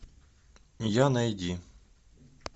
я найди